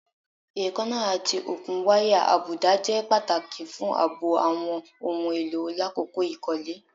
Eekanna ati okun waya abuda jẹ pataki fun aabo awọn ohun elo lakoko ikole